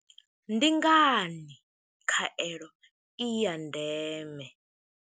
Ndi ngani khaelo i ya ndeme?